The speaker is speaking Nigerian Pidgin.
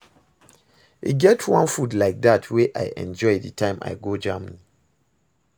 E get one food like dat wey I enjoy the time I go Germany